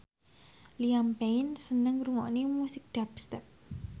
Liam Payne seneng ngrungokne musik dubstep